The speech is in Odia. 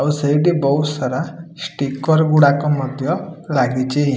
ଓ ସେଇଟି ବହୁତ୍ ସାରା ଷ୍ଟିକର ଗୁଡାକ ମଧ୍ୟ ଲାଗିଚି।